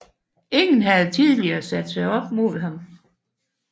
Ingen havde tidligere sat sig op mod ham